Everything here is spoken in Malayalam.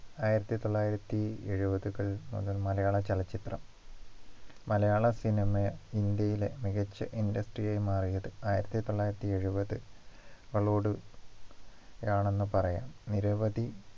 ആയിരത്തി തൊള്ളായിരത്തി എഴുപതുകൾ മുതൽ മലയാള ചലച്ചിത്രം മലയാള cinema ഇന്ത്യയിലെ മികച്ച industry ആയി മാറിയത് ആയിരത്തി തൊള്ളായിരത്തി എഴുപതു കളോട് യാണെന്ന് പറയാം നിരവധി